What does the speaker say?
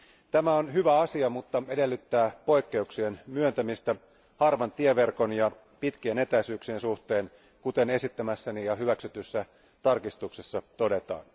Tämä on hyvä asia, mutta edellyttää poikkeuksien myöntämistä harvan tieverkon ja pitkien etäisyyksien suhteen, kuten esittämässäni ja hyväksytyssä tarkistuksessa todetaan.